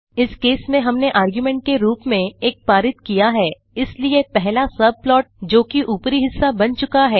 इस केस में हमने आर्गुमेंट के रूप में 1 पारित किया हैं इसलिए पहला सबप्लॉट जोकि ऊपरी हिस्सा है बन चुका है